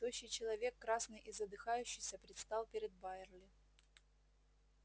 тощий человек красный и задыхающийся предстал перед байерли